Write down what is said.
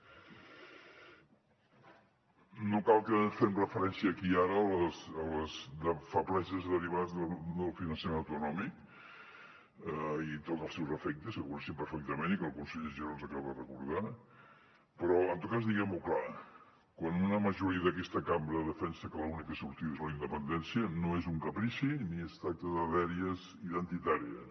no cal que fem referència aquí i ara a les febleses derivades del finançament autonòmic i tots els seus efectes que coneixen perfectament i que el conseller giró ens acaba de recordar però en tot cas diguem ho clar quan una majoria d’aquesta cambra defensa que l’única sortida és la independència no és un caprici ni es tracta de dèries identitàries